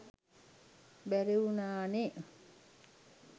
බැරි වුනා නේ.